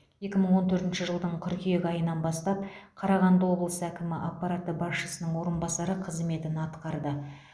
екі мың он төртінші жылдың қыркүйек айынан бастап қарағанды облысы әкімі аппараты басшысының орынбасары қызметін атқарды